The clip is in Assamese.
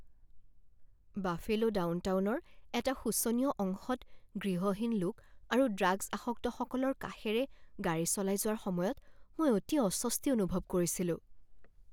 বাফেলো ডাউনটাউনৰ এটা শোচনীয় অংশত গৃহহীন লোক আৰু ড্ৰাগছ আসক্তসকলৰ কাষেৰে গাড়ী চলাই যোৱাৰ সময়ত মই অতি অস্বস্তি অনুভৱ কৰিছিলোঁ।